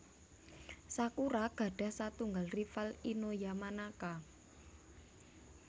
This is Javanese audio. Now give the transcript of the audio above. Sakura gadah satunggal rival Ino Yamanaka